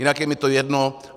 Jinak je mi to jedno.